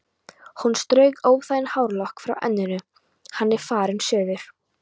Hún strauk óþægan hárlokk frá enninu: Hann er farinn suður